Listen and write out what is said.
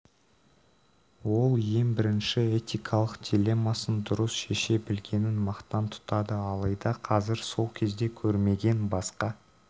ол ең бірінші этикалық диллемасын дұрыс шеше білгенін мақтан тұтады алайда қазір сол кезде көрмеген басқа